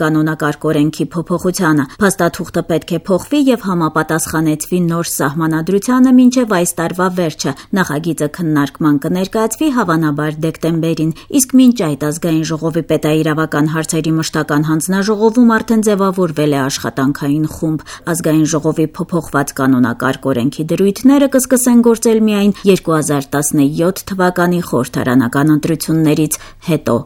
կանոնակարգ-օրենքի փոփոխությանը: Փաստաթուղթը պետք է փոխվի եւ համապատասխանեցվի նոր Սահմանադրությանը մինչեւ այս տարեվերջ: Նախագիծը քննարկման կներկայացվի հավանաբար դեկտեմբերի վերջին, իսկ մինչ այս Աժ-ի պետաիրավական հարցերի մշտական հանձնաժողովում արդեն ձեւավորվել է աշխատանքային խումբ: Հասկանալի է, որ ԱԺ-ի փոփոխված կանոնակարգ օրենքի դրույթները կսկսեն գործել միայն 2017 թվականի խորհրդարանական ընտրություններից հետո: